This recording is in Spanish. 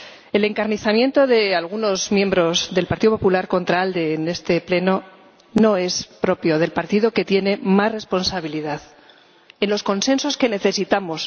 El encarnizamiento de algunos miembros del Partido Popular contra ALDE en este Pleno no es propio del partido que tiene más responsabilidad en los consensos que necesitamos.